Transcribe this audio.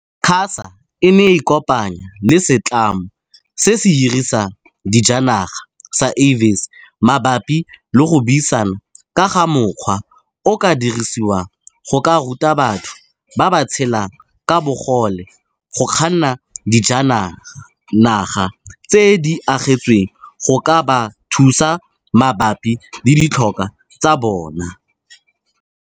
QASA e ne ya ikopanya le setlamo se se hirisang dijanaga sa Avis maba pi le go buisana ka ga mokgwa o o ka dirisiwang go ka ruta batho ba ba tshelang ka bogole go kganna dijanaga tse di agetsweng go ka ba thusa mabapi le ditlhokwa tsa bona.